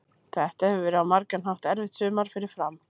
Þetta hefur verið á margan hátt erfitt sumar fyrir Fram.